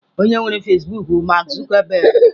Onye nwere Fasịbụk bụ Mark Zuckerberg.